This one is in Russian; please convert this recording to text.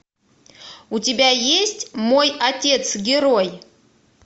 у тебя есть мой отец герой